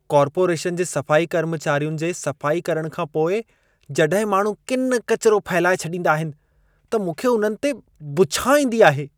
Corporation जे सफाई कर्मचारियुनि जे सफ़ाई करण खां पोइ जॾहिं माण्हू किन किचिरो फहिलाए छॾींदा आहिनि, त मूंखे उन्हनि ते बुछां ईंदी आहे।